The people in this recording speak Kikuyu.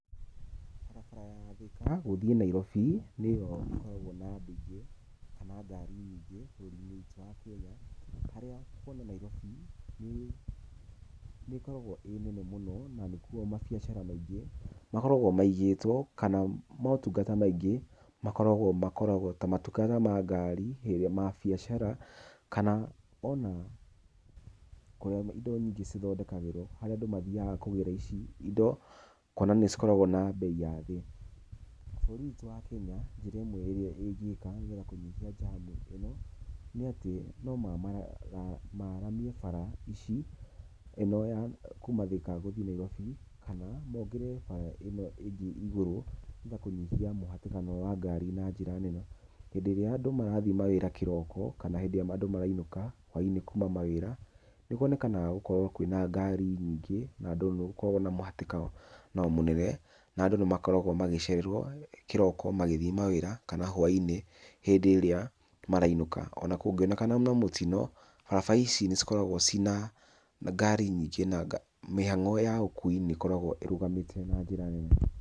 Barabara ya Thika gũthiĩ Nairobi nĩyo ĩkoragwo na andũ aingĩ kana ngariu nyingĩ bũrũri-inĩ witũ wa Kenya. Harĩa kuma Nairobi nĩ ĩkoragwo ĩ nene mũno na nĩkuo mabiacara maingĩ makoragwo maigĩtwo, kana motungata maingĩ makoragwo makoragwo. Ta matuka ta ma ngari ĩrĩa mabiacara kana ona harĩa indo nyingĩ cithondekagĩrwo harĩa andũ mathiaga kũgĩra ici indo kuonania cikoragwo na mbei ya thĩ. Bũrũri witũ wa kenya njĩra ĩmwe ĩgiĩ kwagagĩra kũnyihia njamu ĩno nĩ atĩ no mararamie bara ici ĩno ya kuma Thika gũthi Nairobi kana mongerere bara ĩno ĩngĩ igũrũ getha kũnyihia mũhatikano wa ngari na njĩra nene. Hĩndĩ ĩrĩa andũ marathiĩ mawĩra kĩroko kana hĩndĩ ĩrĩa andũ marainũka hwai-inĩ kuma mawĩra, nĩ kuonekanaga gũkorwo kwĩna ngari nyingĩ na andũ nao nĩ gũkoragwo na mũhatĩkano nao mũnene. Na andũ nĩ makoragwo magĩcererwo kĩroko magĩthiĩ mawĩra kana hwai-inĩ hĩndĩ ĩrĩa marainũka. Ona kũngĩonekana na mũtino barabara ici nĩ cikoragwo ciĩna ngari nyingĩ na mĩhang'o ya ũkui nĩ ĩkoragwo ĩrũgamĩtio na njĩra nene.